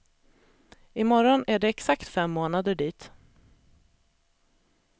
I morgon är det exakt fem månader dit.